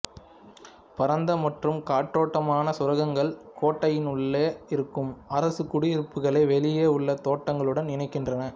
பரந்த மற்றும் காற்றோட்டமான சுரங்கங்கள் கோட்டையின் உள்ளே இருக்கும் அரச குடியிருப்புகளை வெளியே உள்ள தோட்டங்களுடன் இணைகின்றன